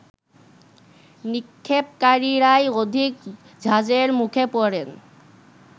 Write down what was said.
নিক্ষেপকারীরাই অধিক ঝাঁজের মুখে পড়েন